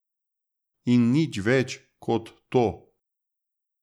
In nič več kot to.